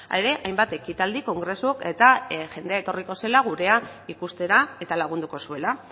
ere hainbat ekitaldi kongresu eta jendea etorriko zela gurea ikustera eta lagunduko zuela